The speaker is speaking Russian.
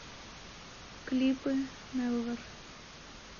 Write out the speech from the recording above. клипы нелвер